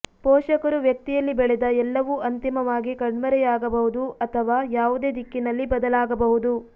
ಪೋಷಕರು ವ್ಯಕ್ತಿಯಲ್ಲಿ ಬೆಳೆದ ಎಲ್ಲವೂ ಅಂತಿಮವಾಗಿ ಕಣ್ಮರೆಯಾಗಬಹುದು ಅಥವಾ ಯಾವುದೇ ದಿಕ್ಕಿನಲ್ಲಿ ಬದಲಾಗಬಹುದು